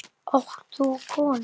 Átt þú konu?